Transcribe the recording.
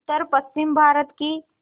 उत्तरपश्चिमी भारत की